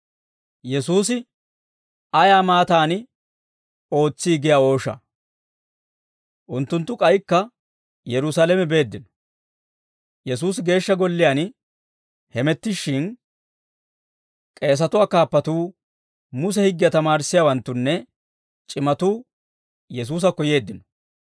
Unttunttu k'aykka Yerusaalame beeddino; Yesuusi Geeshsha Golliyaan hamettishshin, k'eesatuwaa kaappatuu, Muse higgiyaa tamaarissiyaawanttunne c'imatuu Yesuusakko yeeddino.